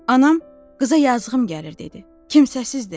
Anam, qıza yazığım gəlir dedi, kimsəsizdir.